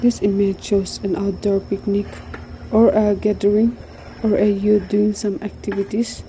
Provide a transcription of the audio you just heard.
this image shows an outdoor picnic or a gathering or a youth during some activities.